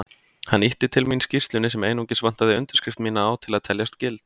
Hann ýtti til mín skýrslunni sem einungis vantaði undirskrift mína á til að teljast gild.